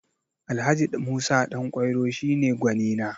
Alh. Musa Ɗanƙwairo shi ne gwanina